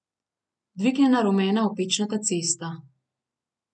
Dvignjena rumena opečnata cesta.